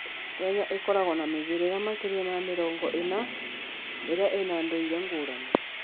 Kenya ĩkoragwo na mĩhĩrĩga makĩria ma mĩrongo ĩna ĩrĩa ĩna ndũire ngũrani.